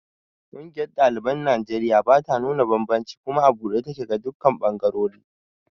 Ƙungiyar ɗaliban Najeriya bata nuna banbanci kuma a buɗe take ga dukkan ɓangarori.